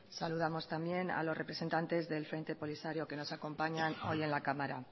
saludamos también a los representantes del frente polisario que nos acompañan hoy en la cámara